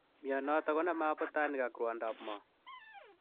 Mionitok konomee abutanik ak rwondop moo